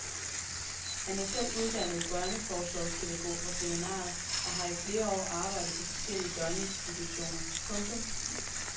Han er selv uddannet børneforsorgspædagog fra seminariet og har i flere år arbejdet på forskellige døgninstitutioner. punktum